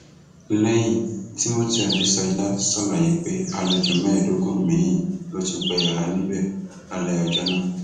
lẹyìn timothy adesola ṣàlàyé pé àlejò mẹẹẹdógún miín ló tún gba yàrá níbẹ lálẹ ọjọ náà